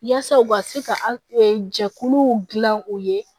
Yaasa u ka se ka jɛkuluw dilan u ye